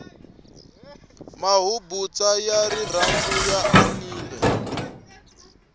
mabubutsa ya rirhandu ya anamile